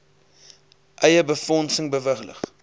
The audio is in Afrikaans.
eie befondsing bewillig